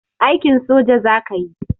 Aikin soja zakayi